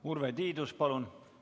Urve Tiidus, palun!